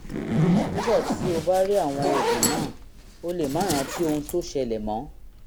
nígbà tí o bá rí àwọn oògùn náà o lè má rántí ohun tó ṣẹlẹ̀ mọ́